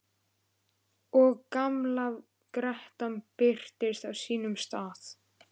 Og gamla grettan birtist á sínum stað.